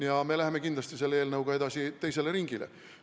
Ja me läheme kindlasti selle eelnõuga edasi teisele ringile.